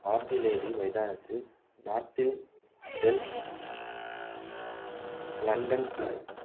artillery மைதானத்தில் நாட்டில்ன்டேல் London